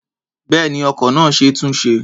Bẹ́ẹ̀ni, ọkọ̀ náà ṣe é túnṣe.